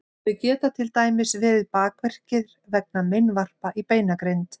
þau geta til dæmis verið bakverkir vegna meinvarpa í beinagrind